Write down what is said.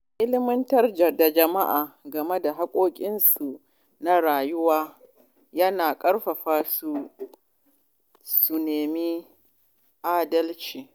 Ilimantar da jama’a game da hakkokinsu na rayuwa yana ƙarfafa su su nemi adalci.